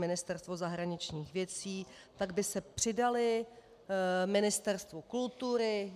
Ministerstvo zahraničních věcí, tak by se přidaly Ministerstvu kultury.